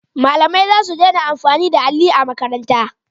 Malamai za su dena amfani da alli a makaranta